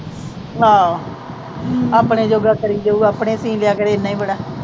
ਹਾਂ। ਆਪਣੇ ਜੋਗਾ ਕਰੀਂ ਜਾਉ। ਆਪਣੇ ਸੀਅ ਲਵੇ, ਇੰਨਾ ਈ ਬੜਾ।